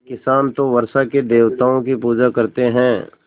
पर किसान तो वर्षा के देवताओं की पूजा करते हैं